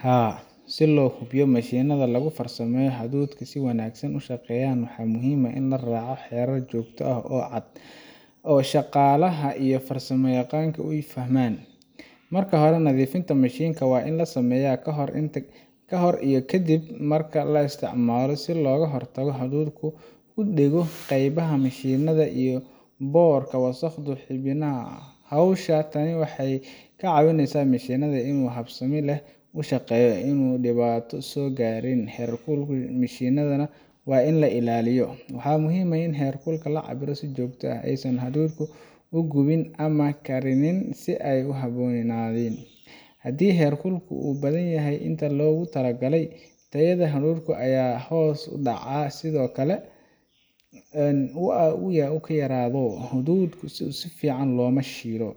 Haa, si loo hubiyo in mishiinada lagu farsameeyo hadhuudhka ay si wanaagsan u shaqeeyaan, waxaa muhiim ah in la raaco xeerar joogto ah oo cad oo shaqaalaha iyo farsamoyaqaanka ay fahmaan. Marka hore, nadiifinta mishiinka waa in la sameeyaa ka hor iyo ka dib marka la isticmaalo si looga hortago in hadhuudhku ku dhego qaybaha mishiinka ama in boorka iyo wasakhdu xannibaan hawsha. Tani waxay ka caawineysaa mishiinka inuu si habsami leh u shaqeeyo oo aanu dhibaato soo gaarin. Heerkulka shiilidda waa in la ilaaliyo, waxaana muhiim ah in heerkulka la cabbiro si joogto ah si aysan hadhuudhku u gubin ama u karinin si aan habboonayn. Haddii heerkulku ka badanyahay inta loogu talagalay, tayada hadhuudhka ayaa hoos u dhacda, sidoo kale haddii uu ka yaraado, hadhuudhka si fiican looma shiilo.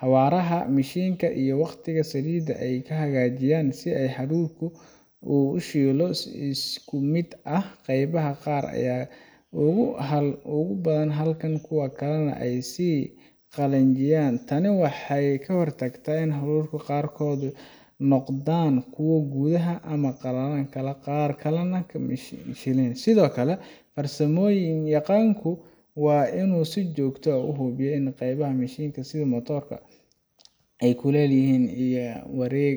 Xawaaraha mishiinka iyo waqtiga shiilidda waa in la hagaajiyaa si hadhuudhku u shiilo si isku mid ah, qaybaha qaar aanay uga gubin halka kuwa kale ay ka sii qalajinayaan. Tani waxay ka hortagtaa in hadhuudhka qaarkood noqdaan kuwo gubtay ama qallalan halka qaar kalena aan la shiilin. Sidoo kale, farsamoyaqaanku waa inuu si joogto ah u hubiyaa qaybaha mishiinka sida motor-ka, kulayliyaha wareeg